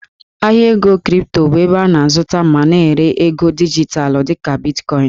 Ahịa ego kripto bụ ebe a na-azụta ma na-ere ego dijitalụ dị ka Bitkọịn.